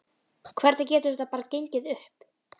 Hvernig getur þetta bara gengið upp?